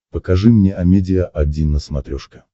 покажи мне амедиа один на смотрешке